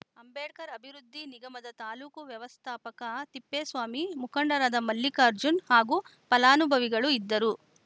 ಅಂಬೇಡ್ಕರ್‌ ಅಭಿವೃದ್ಧಿ ನಿಗಮದ ತಾಲೂಕು ವ್ಯವಸ್ಥಾಪಕ ತಿಪ್ಪೇಸ್ವಾಮಿ ಮುಖಂಡರಾದ ಮಲ್ಲಿಕಾರ್ಜುನ್‌ ಹಾಗೂ ಫಲಾನುಭವಿಗಳು ಇದ್ದರು